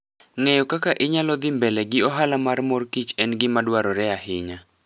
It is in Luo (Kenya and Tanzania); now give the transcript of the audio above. Ng'eyo kaka inyalo nyalodhii mbele gi ohala mar mor kich en gima dwarore ahinya.